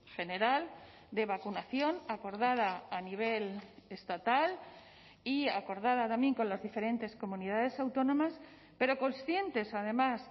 general de vacunación acordada a nivel estatal y acordada también con las diferentes comunidades autónomas pero conscientes además